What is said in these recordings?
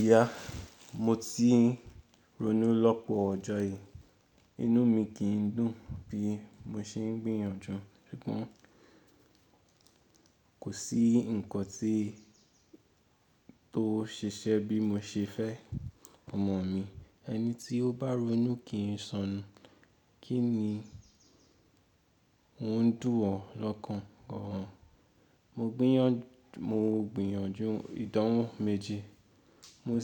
Ìyá, mo ti ń ronú lọ́pọ̀ ọjọ́ yìí, inú mi kì ń dùn bí mo ṣe ń gbìyànjú. Ṣùgbọ́n kò sí ǹkan tí tó ṣe ṣẹ́ bí mo ṣe fẹ́ ọmọ mi. Ẹni tí ó bá ronú kì í sọnù. Kí ni n o dùn ọ́ lọ́kàn gán? Mo gbìyànjú ìdánwò méje. Mo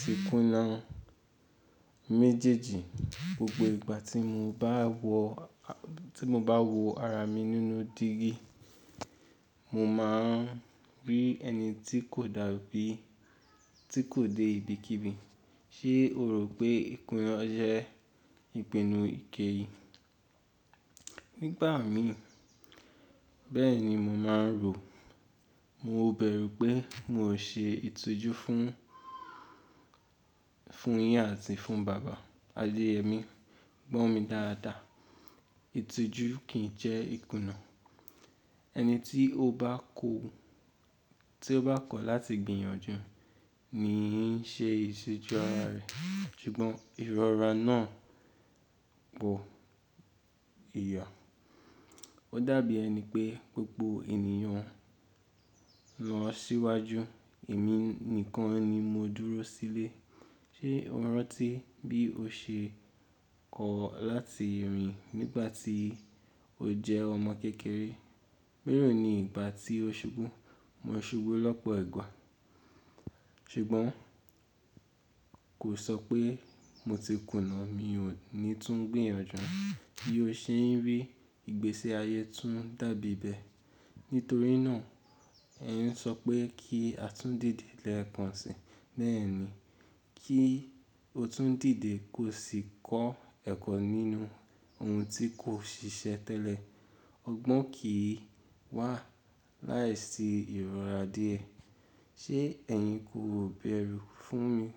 sì kùnà méjèèjì. Gbogbo ìgbà tí mo bá wo ara mi nínú dígí, mo máa ń rí ẹni tí kò dàbí, tí kò dé ibi kíbi. Ṣé o rò pé ìkùnà jẹ́ ìpinnu ìkẹyìn? Nígbà mí, bẹ́ẹ̀ ni mo máa ń rò. Mo bẹ̀rù pé mo ṣe ètùtù fún yín àti fún bàbá, adéẹ́ mi. Gbọ̀ mí dáadáa, itùjù kì í jẹ́ ìkùnà. Ẹni tí ó bá kọ̀ láti gbìyànjú ni í ṣe ètùtù ara rẹ̀. Ṣùgbọ́n ìrora náà pọ̀, ìyá. Ó dàbí ẹni pé gbogbo ènìyàn lọ síwájú, èmi nìkan ni mo dúró sílé. Ṣé o rántí bí o ṣe kọ̀ láti rìn nígbà tí o jẹ́ ọmọ kékeré? Méròó ni ìgbà tí o ṣubú? Mo ṣubú lọ́pọ̀ ìgbà. Ṣùgbọ́n kò sọ pé mo ti kùnà, mi ò ní tún gbìyànjú. Bí o ṣe ń rí, ìgbésí ayé tún dàbí bẹ́ẹ̀. Nítorí náà ẹ ń sọ pé kí a tún dìde lẹ́ẹ̀kan si. Bẹ́ẹ̀ ni, kí o tún dìde kó sì kọ́ ẹ̀kọ́ nínú ohun tí kò ṣiṣẹ́ tẹ́lẹ̀. Ọgbọ́n kì í wá láìsí ìrora dìẹ. Ṣé ẹ̀yin kò bẹ̀rù fún mi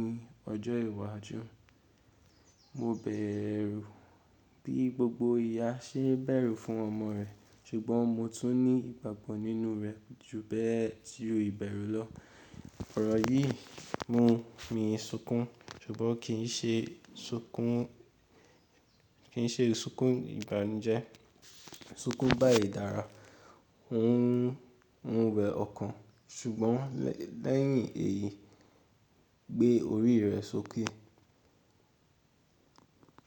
ní ọjọ́ iwájú? Mo bẹ̀rù bí gbogbo ìyá ṣe bẹ̀rù fún ọmọ rẹ̀, ṣùgbọ́n mo tún ní ìgbàgbọ́ nínú rẹ ju bẹ́ẹ̀ tí o bẹ̀rù lọ. Ọ̀rọ̀ yìí mú mi sunkún, ṣùgbọ́n kì í ṣe sunkún ìbànújẹ́. Sunkún bá ìdára, ò ń wẹ ọkàn. Ṣùgbọ́n lẹ́yìn èyí gbé orí rẹ sókè.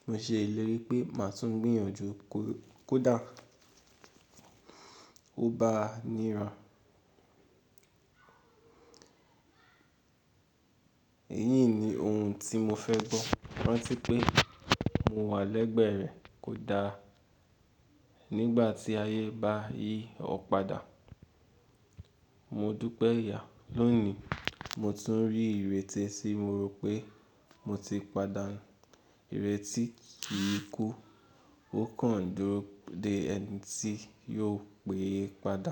Mo ṣèlérí pé màá tún gbìyànjú kódà o bá níran. Èyí ni ohun tí mo fẹ́ gbọ́, rántí pé mo wà lẹ́gbẹ̀ẹ́ rẹ kódà nígbà tí ayé bá yí ọ padà. Mo dúpẹ́ ìyá. Lónìí, mo tún rí ìrètí tí mo rò pé mo ti pàdánù. Ìrètí kì í kú, ó kàn dúró de ẹni tí yóò pè é padà.